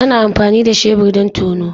Ana amfani da shebur don tono.